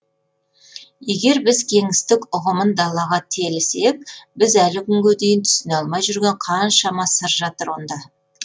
егер біз кеңістік ұғымын далаға телісек біз әлі күнге дейін түсіне алмай жүрген қаншама сыр жатыр онда